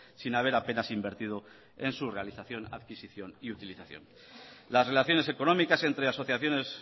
sin haber apenas invertido en su realización adquisición y utilización las relaciones económicas entre asociaciones